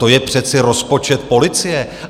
To je přece rozpočet policie.